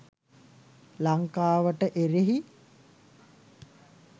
ලංකාවට එරෙහි?